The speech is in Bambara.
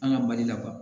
An ka mali la